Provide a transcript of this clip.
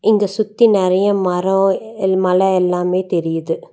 இங்க சுத்தி நெறையா மரோ எல் மல எல்லாமே தெரியிது.